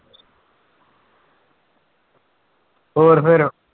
ਹੋਰ ਫਿਰ